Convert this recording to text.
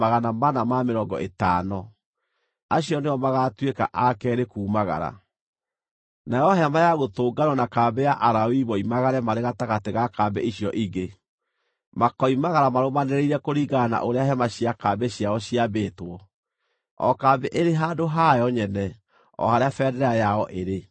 Nayo Hema-ya-Gũtũnganwo na kambĩ ya Alawii moimagare marĩ gatagatĩ ga kambĩ icio ingĩ. Makoimagara marũmanĩrĩire kũringana na ũrĩa hema cia kambĩ ciao ciambĩtwo, o kambĩ ĩrĩ handũ hayo nyene o harĩa bendera yao ĩrĩ.